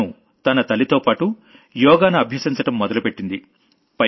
తను తన తల్లితోపాటు యోగాను అభ్యసించడం మొదలుపెట్టింది